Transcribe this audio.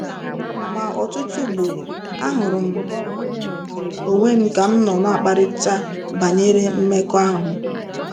Ma ọtụtụ ugboro, ahụrụ m onwe m ka m nọ na-akparịta banyere mmekọahụ.